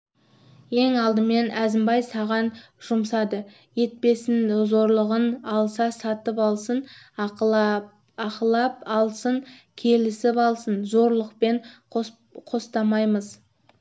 ең алдымен әзімбай саған жұмсады етпесін зорлығын алса сатып алсын ақылап алсын келісіп алсын зорлығын қостамаймыз